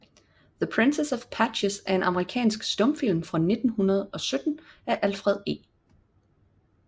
The Princess of Patches er en amerikansk stumfilm fra 1917 af Alfred E